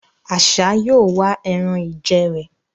Àṣá yóò wá ẹran-ìjẹ rẹ̀